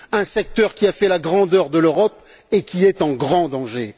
Un secteur qui a fait la grandeur de l'Europe et qui est en grand danger.